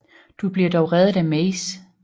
Du bliver dog redet af Maze